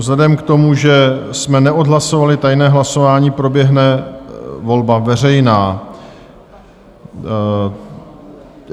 Vzhledem k tomu, že jsme neodhlasovali tajné hlasování, proběhne volba veřejná.